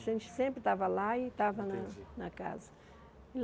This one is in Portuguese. A gente sempre estava lá e estava na Entendi na casa.